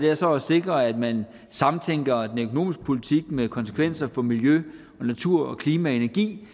er så at sikre at man samtænker den økonomiske politik med konsekvenser for miljø natur klima og energi